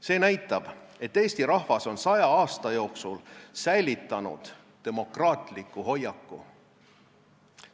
See näitab, et eesti rahvas on saja aasta jooksul säilitanud demokraatliku hoiaku.